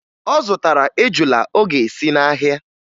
Ọ zụtara ejula ọ ga-esi n'ahịa